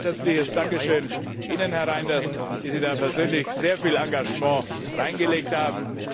Dafür ein ganz herzliches Dankeschön Ihnen, Herr Reynders, die Sie da persönlich sehr viel Engagement hineingelegt haben!